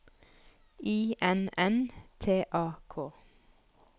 I N N T A K